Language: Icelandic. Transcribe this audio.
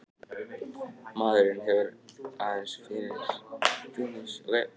Maðurinn hefur hins vegar oft raskað slíku jafnvægi einmitt með því að útrýma rándýrunum.